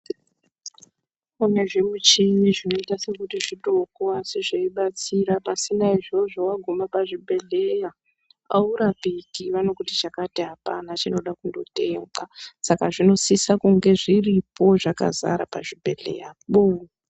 Kune zvimuchini zvinoita sekuti zvidoko asi zveibatsira pasina izvozvo wagume pachibhedhlera aurapiki vanokuti chakati apana chinoda kunotengwa saka zvinosisa kunge zviripo zvakazara pazvibhedhleyapo.